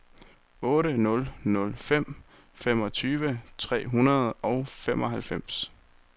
otte nul nul fem femogtyve tre hundrede og femoghalvfems